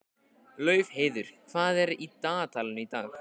Laufheiður, hvað er í dagatalinu í dag?